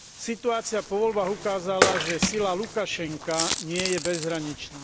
Situácia po voľbách ukázala, že sila Lukašenka nie je bezhraničná.